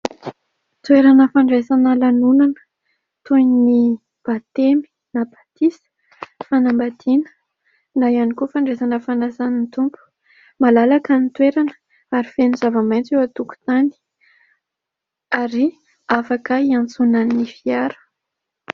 Toerana fandraisana lanonana toy ny batemy na batisa, ny fanambadiana na ihany koa fandraisana fanasan'ny Tompo ; malalaka ny toerana ary feno zava-maintso eo antokon-tany ary afaka hiantsonan'ny fiara.